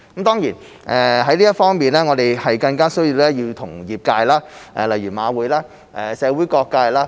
在這方面，我們更加需要與業界配合，例如馬會及社會各界。